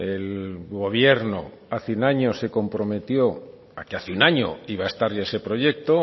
el gobierno hace un año se comprometió a que hace un año iba a estar ya ese proyecto